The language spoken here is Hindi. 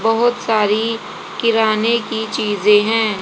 बहोत सारी किराने की चीजें हैं।